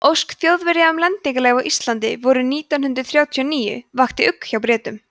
ósk þjóðverja um lendingarleyfi á íslandi vorið nítján hundrað þrjátíu og níu vakti ugg hjá bretum